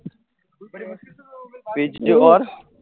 પિછલી વાર